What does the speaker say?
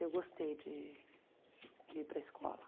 Eu gostei de de ir para escola.